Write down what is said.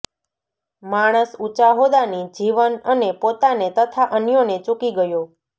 માણસ ઊંચા હોદ્દાની જીવન અને પોતાને તથા અન્યોને ચૂકી ગયો